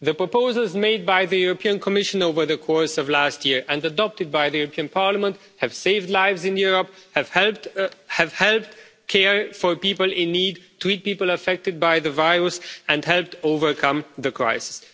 The proposals made by the European Commission over the course of last year and adopted by the European Parliament have saved lives in Europe, have helped care for people in need, treat people affected by the virus and helped overcome the crisis.